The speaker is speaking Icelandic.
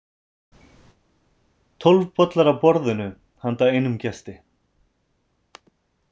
Tólf bollar á borðinu handa einum gesti.